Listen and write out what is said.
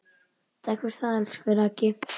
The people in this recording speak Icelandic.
Takk fyrir það, elsku Raggi.